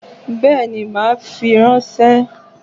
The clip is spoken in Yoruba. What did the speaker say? Béèni, màá fi ránsé